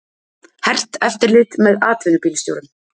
Hert eftirlit með atvinnubílstjórum